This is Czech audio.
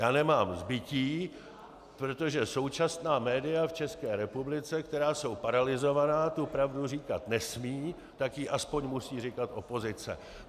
Já nemám zbytí, protože současná média v České republice, která jsou paralyzována, tu pravdu říkat nesmějí, tak ji aspoň musí říkat opozice.